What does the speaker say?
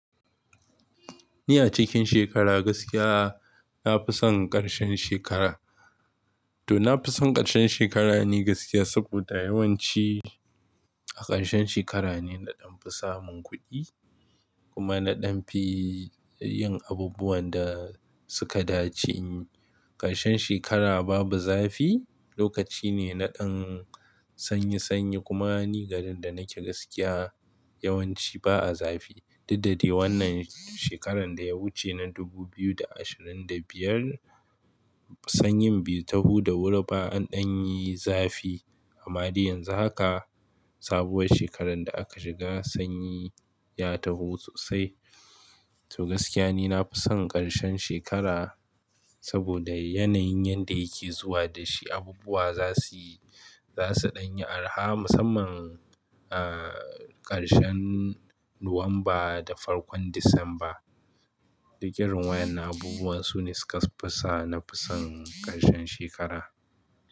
Ni a cikin shekara gaskiya, na fi son ƙarshen shekara. To na fi son ƙarshen shekara ni gaskiya saboda yawanci a ƙarshen shekara ne na ɗan fi samun kuɗi kuma na ɗan fi yin abubuwan da suka dace. Ƙarshen shekara babu zafi, lokaci ne na ɗan sanyi sanyi kuma ni garin da nake gaskiya yawanci ba a zafi. Daddare wannan shekaran da ya wuce na dubu biyu da ashirin da biyar, sanyin bai taho da wuri ba an ɗan yi zafi. Amma dai yanzu haka, sabuwar shekaran da aka shiga sanyi ya taho sosai. To gaskiya ni na fi son ƙarshen shekara saboda yanayin yanda yake zuwa da shi, abubuwa za su yi, za su ɗan yi araha musamman, ah, ƙarshen Nuwamba da farkon Disamba. Duk irin wayanan abubuwan su ne suka fasa na fi son ƙarshen shekara.